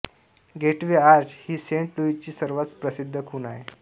gateway arch ही saint लुईसची सर्वात प्रसिद्ध खुण आहे